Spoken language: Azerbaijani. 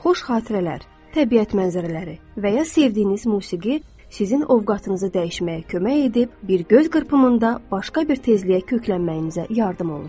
Xoş xatirələr, təbiət mənzərələri və ya sevdiyiniz musiqi sizin ovqatınızı dəyişməyə kömək edib, bir göz qırpımında başqa bir tezliyə köklənməyinizə yardım olur.